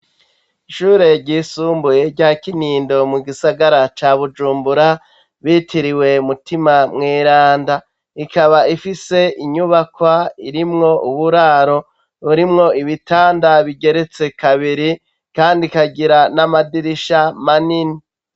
Ishure ryisumbuye rya Kinindo mu gisagara ca Bujumbura bitiriwe Mutima Mweranda. Ikaba ifise inyubakwa irimwo uburaro, burimwo ibitanda bigeretse kabiri, Kandi rikagira n' amadirisha manini.